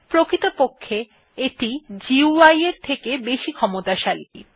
প্রকৃতপক্ষে এটি GUI এর থেকে বেশি ক্ষমতাশালী